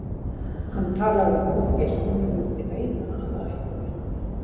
Hann talaði um útgeislun og vildi meina að það ætti við hana.